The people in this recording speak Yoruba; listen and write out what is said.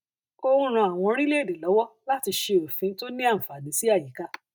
ó ń ràn àwọn orílẹèdè lọwọ láti ṣe òfin tó ní àǹfààní sí àyíká